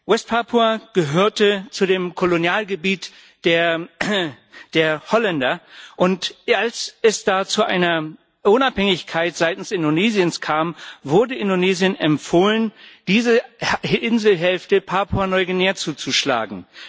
West Papua gehörte zu dem Kolonialgebiet der Holländer, und als es da zur Unabhängigkeit seitens Indonesiens kam, wurde Indonesien empfohlen, diese Inselhälfte Papua Neuguinea zuzuschlagen.